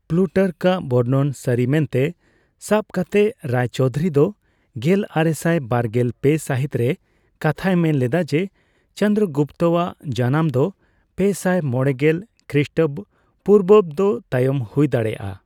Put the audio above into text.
ᱯᱞᱩᱴᱟᱨᱠᱟᱜ ᱵᱚᱨᱱᱚᱱ ᱥᱟᱹᱨᱤ ᱢᱮᱱᱛᱮ ᱥᱟᱯ ᱠᱟᱛᱮ ᱨᱟᱤᱪᱳᱣᱫᱷᱩᱨᱤ ᱫᱚ ᱜᱮᱞᱟᱨᱮᱥᱟᱭ ᱵᱟᱨᱜᱮᱞ ᱯᱮ ᱥᱟᱦᱤᱛ ᱨᱮ ᱠᱟᱛᱷᱟᱭ ᱢᱮᱱᱞᱮᱫᱟ ᱡᱮ, ᱪᱚᱱᱫᱨᱚᱜᱩᱯᱛᱚᱣᱟᱜ ᱡᱟᱱᱟᱢ ᱫᱚ ᱯᱮᱥᱟᱭ ᱢᱚᱲᱮᱜᱮᱞ ᱠᱷᱨᱤᱥᱴᱚᱯᱩᱨᱵᱟᱵᱫᱚ ᱛᱟᱭᱚᱢ ᱦᱩᱭ ᱫᱟᱲᱮᱭᱟᱜᱼᱟ ᱾